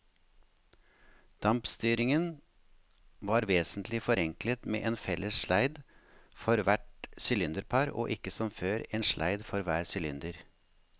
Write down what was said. Dampstyringen var vesentlig forenklet med en felles sleid for hvert sylinderpar og ikke som før, en sleid for hver sylinder.